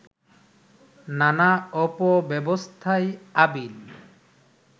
নানা অপব্যবস্থায় আবিল